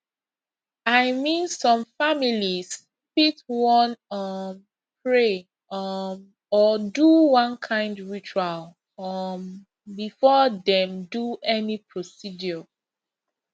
i mean some families fit wan um pray um or do one kind ritual um before dem do any procedure